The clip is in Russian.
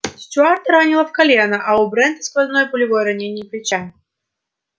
стюарта ранило в колено а у брента сквозное пулевое ранение плеча